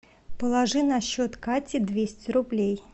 положи на счет кати двести рублей